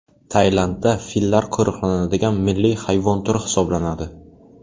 Tailandda fillar qo‘riqlanadigan milliy hayvon turi hisoblanadi.